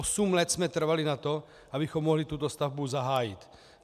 Osm let jsme trvali na tom, abychom mohli tuto stavbu zahájit.